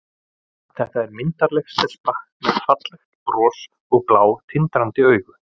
Þetta er myndarleg stelpa með fallegt bros og blá, tindrandi augu.